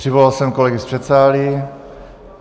Přivolal jsem kolegy z předsálí.